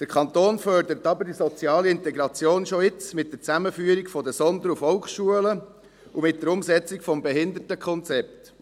Der Kanton fördert aber die soziale Integration schon jetzt, mit der Zusammenführung der Sonder- und Volksschulen und mit der Umsetzung des Behindertenkonzepts.